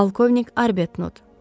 Polkovnik Arbetnut.